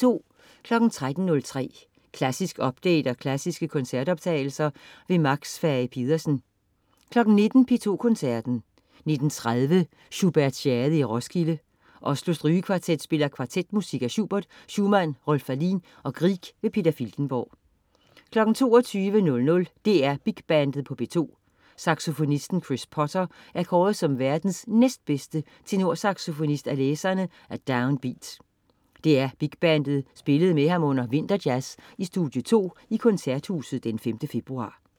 13.03 Klassisk update og klassiske koncertoptagelser. Max Fage-Pedersen 19.00 P2 Koncerten. 19.30 Schubertiade i Roskilde. Oslo Strygekvartet spiller kvartetmusik af Schubert, Schumann, Rolf Wallin og Grieg. Peter Filtenborg 22.00 DR Big Bandet på P2. Saxofonisten Chris Potter er kåret som verdens næstbedste tenorsaxofonist af læserne af Down Beat. DR Big Bandet spillede med ham under VinterJazz i Studie 2 i Koncerthuset 5. februar